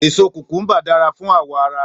Èso kùkùmbà dára fún àwò ara.